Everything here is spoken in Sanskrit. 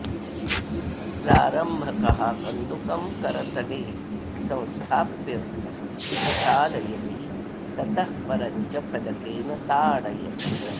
प्रारम्भकः कन्दुकं करतले संस्थाप्योच्छालयति ततः परं च फलकेन ताडयति